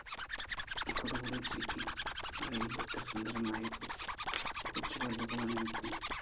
ചീക്കി ആയി എത്ര സുന്ദരമായ കൊച്ചു പല്ലുകളാ നിനക്ക്